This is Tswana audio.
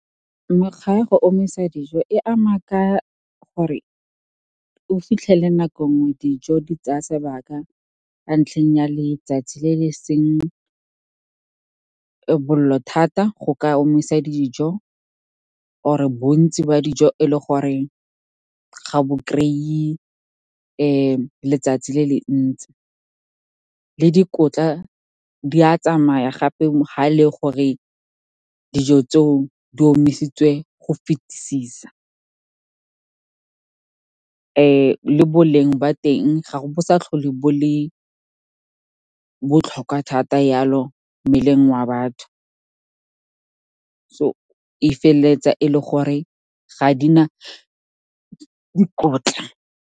Mekgwa ya go omisa dijo e ama ka gore o fitlhele nako nngwe dijo di tsaya sebaka a ntlheng ya letsatsi le le seng bollo thata go ka omisa dijo, or-e bontsi ba dijo e le goreng ga bo kry-e letsatsi le le ntsi, le dikotla di a tsamaya gape ga ele gore dijo tseo di omisitse go fitisisa, le boleng ba teng ga bo sa tlhole bo le botlhokwa thata yalo, mmeleng wa batho, so e feleletsa e le gore ga di na dikotla.